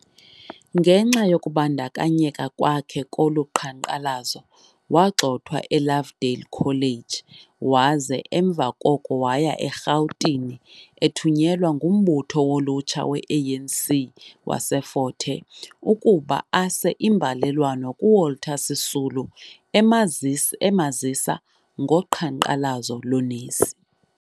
Ngenxa yokubandakanyeka kwakhe koluqhanqalazo, wagxothwa eLovedale college waze emva koko waya eRhawutini ethunyelwa ngumbutho wolutsha weANC waseFort Hare ukuba ase imbalelwano kuWalter Sisulu emazisa emazisa ngoqhanqalazo loonesi.